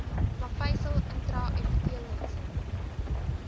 plaveisel intra epiteelletsel